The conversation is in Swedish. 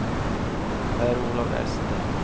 Per-Olof Wester